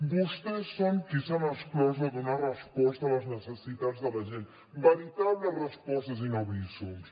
vostès són qui s’han exclòs de donar resposta a les necessitats de la gent veritables respostes i no bízums